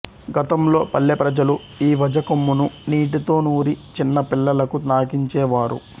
గతంలో పల్లె ప్రజలు ఈ వజ కొమ్మును నీటితో నూరి చిన్న పిల్లలకు నాకించే వారు